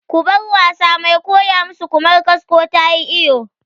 Ku bar wasa! Mai koya mu su Ƙumar kasko tayi iyo